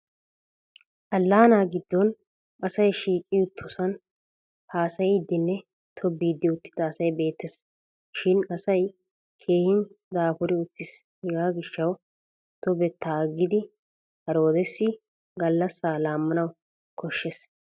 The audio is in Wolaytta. Allaanaa giddon asay shiiqi uttosan haasayiiddinne tobettiiddi uttida asay beettes. Shin asay keehin daafuri uttis hegga gishshawu tobettaa aggidi haroodessi gallassaa laammana koshshes.